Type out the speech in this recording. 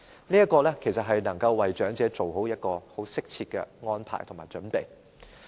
這其實能夠為長者作出適切的安排和準備。